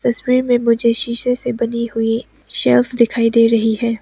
तस्वीर में मुझे शीशे से बनी हुई सेल्फ दिखाई दे रही है।